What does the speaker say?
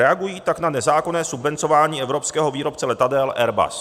Reagují tak na nezákonné subvencování evropského výrobce letadel Airbus.